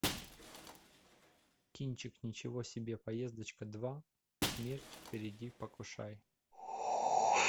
кинчик ничего себе поездочка два смерть впереди покушай